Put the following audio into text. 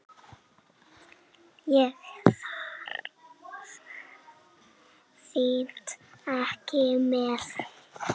Ég þarf þín ekki með.